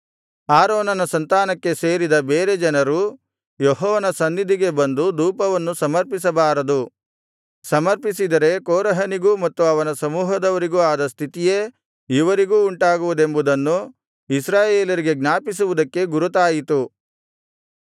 ಆರೋನನ ಸಂತಾನಕ್ಕೆ ಸೇರದ ಬೇರೆ ಜನರು ಯೆಹೋವನ ಸನ್ನಿಧಿಗೆ ಬಂದು ಧೂಪವನ್ನು ಸಮರ್ಪಿಸಬಾರದು ಸಮರ್ಪಿಸಿದರೆ ಕೋರಹನಿಗೂ ಮತ್ತು ಅವನ ಸಮೂಹದವರಿಗೂ ಆದ ಸ್ಥಿತಿಯೇ ಇವರಿಗೂ ಉಂಟಾಗುವುದೆಂಬುದನ್ನು ಇಸ್ರಾಯೇಲರಿಗೆ ಜ್ಞಾಪಿಸುವುದಕ್ಕೆ ಗುರುತಾಯಿತು